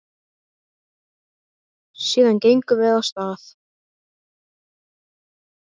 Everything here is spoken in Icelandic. Síðan gengum við af stað.